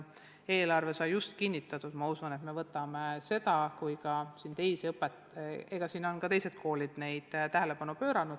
Eelarve sai just kinnitatud, ma usun, et me peame need teemad väga tõsiselt läbi arutama.